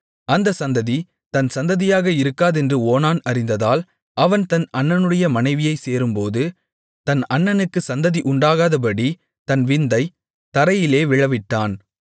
அந்த சந்ததி தன் சந்ததியாக இருக்காதென்று ஓனான் அறிந்ததால் அவன் தன் அண்ணனுடைய மனைவியைச் சேரும்போது தன் அண்ணனுக்கு சந்ததி உண்டாகாதபடித் தன் விந்தைத் தரையிலே விழவிட்டான்